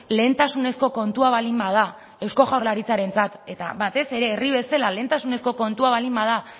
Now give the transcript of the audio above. lehentasunezko kontua baldin bada eusko jaurlaritzarentzat eta batez ere herri bezala lehentasunezko kontua baldin bada